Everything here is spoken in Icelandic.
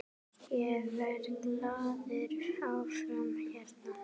Ég verð glaður áfram hérna.